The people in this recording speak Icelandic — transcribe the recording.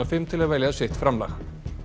fimm til að velja sitt framlag